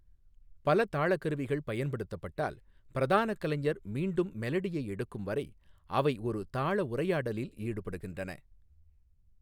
பல தாளக் கருவிகள் பயன்படுத்தப்பட்டால், பிரதான கலைஞர் மீண்டும் மெலடியை எடுக்கும் வரை அவை ஒரு தாள உரையாடலில் ஈடுபடுகின்றன.